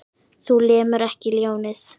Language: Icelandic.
Þú lemur ekki ljónið.